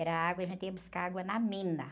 Era água, e a gente ia buscar água na mina.